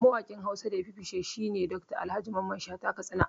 Mawaƙin Hausa da yafi fice shine Dr. Alhaji Mamman Shata Katsina